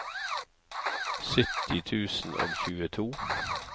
sytti tusen og tjueto